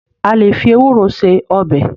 A lè fí ewúro ṣe ọbẹ.